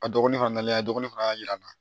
A dɔgɔnin fana nana a dɔgɔnin fana y'a yir'an na